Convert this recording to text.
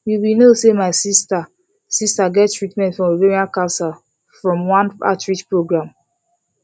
you be no say my sister sister get treatment from ovarian cancer from one outreach program